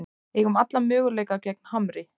Eigum alla möguleika gegn Hamri